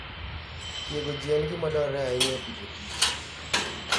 Tiego ji en gima dwarore ahinya e Agriculture and Food